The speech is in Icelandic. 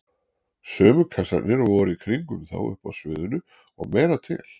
Sömu kassarnir og voru í kringum þá uppi á sviðinu- og meira til!